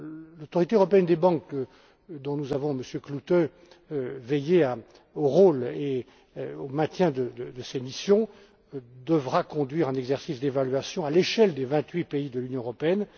L'autorité européenne des banques et nous avons, Monsieur Klute, veillé au rôle et au maintien de ses missions devra conduire un exercice d'évaluation à l'échelle des vingt huit pays de l'Union européenne.